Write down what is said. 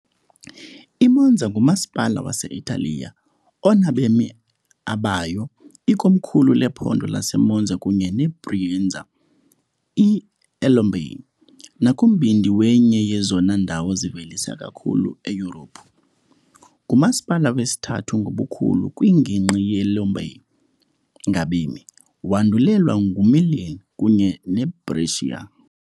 I-Monza ngumasipala wase-Italiya onabemi abayo, ikomkhulu lephondo laseMonza kunye neBrianza eLombardy nakumbindi wenye yezona ndawo zivelisa kakhulu eYurophu. Ngumasipala wesithathu ngobukhulu kwingingqi yeLombardy ngabemi, wandulelwa nguMilan kunye neBrescia.